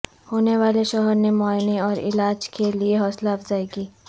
ہونے والے شوہر نے معائنے اور علاج کے لیے حوصلہ افزائی کی